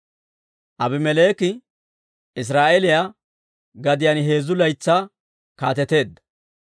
Aabimeleeki Israa'eeliyaa gadiyaan heezzu laytsaa kaateteedda.